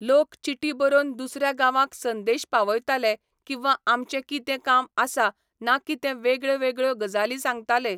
लोक चिटी बरोवन दुसऱ्या गांवांक संदेश पावयताले किंवा आमचें कितें काम आसा ना कितें वेगळ्यो वेगळ्यो गजाली सांगताले.